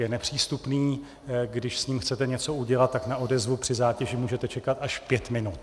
Je nepřístupný, když s ním chcete něco udělat, tak na odezvu při zátěži můžete čekat až pět minut.